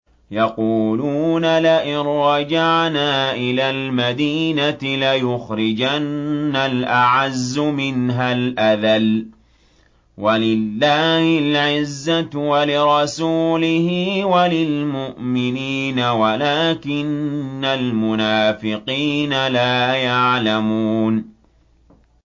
يَقُولُونَ لَئِن رَّجَعْنَا إِلَى الْمَدِينَةِ لَيُخْرِجَنَّ الْأَعَزُّ مِنْهَا الْأَذَلَّ ۚ وَلِلَّهِ الْعِزَّةُ وَلِرَسُولِهِ وَلِلْمُؤْمِنِينَ وَلَٰكِنَّ الْمُنَافِقِينَ لَا يَعْلَمُونَ